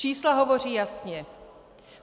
Čísla hovoří jasně.